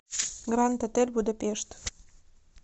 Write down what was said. гранд отель будапешт